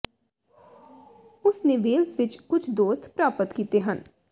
ਉਸ ਨੇ ਵੇਲਸ ਵਿਚ ਕੁਝ ਦੋਸਤ ਪ੍ਰਾਪਤ ਕੀਤੇ ਹਨ